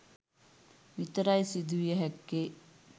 විතරයි සිදුවිය හැක්කේ.